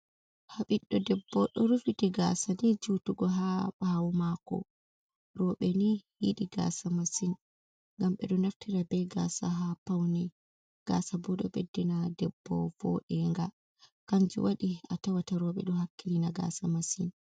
"Ɓiɗdo debbo"ɗo rufiti gasa ni jutugo ha ɓawo mako roɓe ni yiɗi gasa masin ngam ɓeɗo naftira be gasa ha paune gasa bo ɗo beddi na debbo vodenga kanju waɗi a tawata roɓe ɗo hakkilina gasa masin.